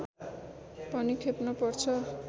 पनि खेप्नु पर्छ